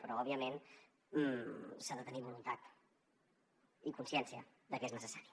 però òbviament s’ha de tenir voluntat i consciència de que és necessari